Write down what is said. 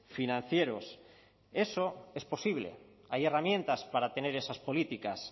financieros eso es posible hay herramientas para tener esas políticas